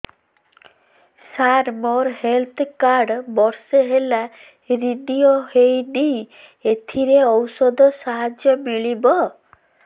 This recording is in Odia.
ସାର ମୋର ହେଲ୍ଥ କାର୍ଡ ବର୍ଷେ ହେଲା ରିନିଓ ହେଇନି ଏଥିରେ ଔଷଧ ସାହାଯ୍ୟ ମିଳିବ